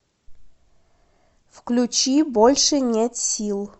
включи больше нет сил